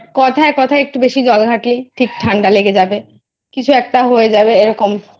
কথায় কথায় একটু বেশি জল ঘাটলে ঠান্ডা লেগে যাবে কিছু একটা হয়ে যাবে এরকম